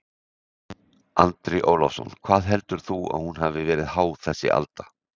Andri Ólafsson: Hvað heldur þú að hún hafi verið há þessi alda?